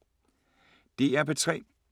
DR P3